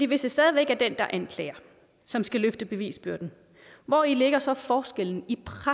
hvis det stadig væk er den der anklager som skal løfte bevisbyrden hvori ligger så forskellen